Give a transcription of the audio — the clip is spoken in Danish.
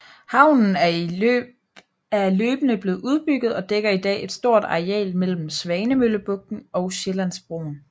Havnen er løbende blevet udbygget og dækker i dag et stort areal mellem Svanemøllebugten og Sjællandsbroen